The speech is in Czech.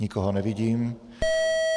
Nikoho nevidím.